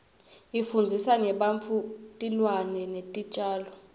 ifundzisa ngebantfu tilwane netitjalo